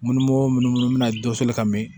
Munumunu munu bɛna dɛsɛ ka mɛ